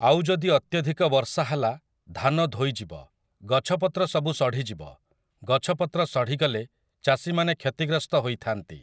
ଆଉ ଯଦି ଅତ୍ୟଧିକ ବର୍ଷା ହେଲା ଧାନ ଧୋଇଯିବ, ଗଛପତ୍ର ସବୁ ସଢ଼ି ଯିବ, ଗଛ ପତ୍ର ସଢ଼ି ଗଲେ ଚାଷୀମାନେ କ୍ଷତିଗ୍ରସ୍ତ ହୋଇଥାନ୍ତି ।